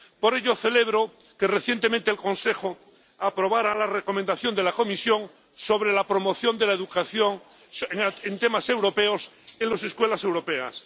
Por ello, celebro que recientemente el Consejo aprobara la recomendación de la Comisión sobre la promoción de la educación en temas europeos en las escuelas europeas.